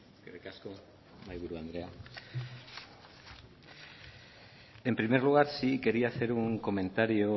eskerrik asko mahaiburu andrea en primer lugar sí quería hacer un comentario